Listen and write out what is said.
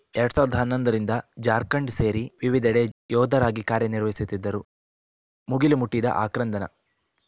ಎರಡ್ ಸಾವಿರದ ಹನ್ನೊಂದು ರಿಂದ ಜಾರ್ಖಂಡ್‌ ಸೇರಿ ವಿವಿಧೆಡೆ ಯೋಧರಾಗಿ ಕಾರ್ಯ ನಿರ್ವಹಿಸುತ್ತಿದ್ದರು ಮುಗಿಲು ಮಟ್ಟಿದ ಆಕ್ರಂದನ